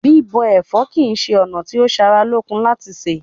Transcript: Bíbọ ẹ̀fọ́ kí ṣe ona ti o sára lókun láti ṣé